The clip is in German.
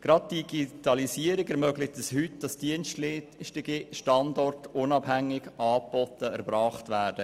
Gerade die Digitalisierung erlaubt es heute, dass Dienstleistungen unabhängig vom Standort erbracht werden.